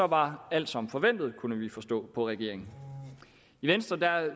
var alt som forventet kunne vi forstå på regeringen i venstre